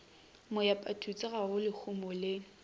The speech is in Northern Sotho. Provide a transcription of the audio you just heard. moepathutse ga go lehumo le